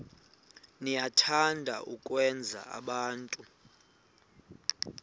niyathanda ukwenza abantu